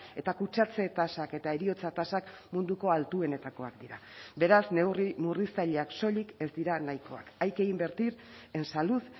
eta kutsatze tasak eta heriotza tasak munduko altuenetakoak dira beraz neurri murriztaileak soilik ez dira nahikoak hay que invertir en salud